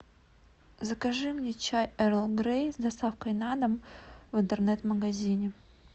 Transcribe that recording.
закажи мне чай эрл грей с доставкой на дом в интернет магазине